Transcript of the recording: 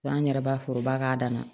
An yɛrɛ b'a foroba k'a dan na